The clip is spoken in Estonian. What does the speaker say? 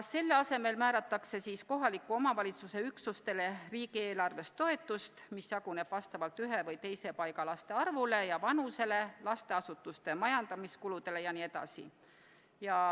Selle asemele määratakse kohaliku omavalitsuse üksustele riigieelarvest toetust, mis jaguneb vastavalt ühe või teise paiga laste arvule ja vanusele, lasteasutuste majandamiskuludele jne.